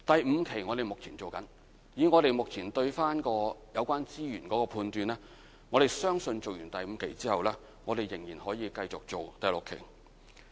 以我們目前對有關資源的判斷，相信在完成第五期後，仍然可以繼續進行第六期。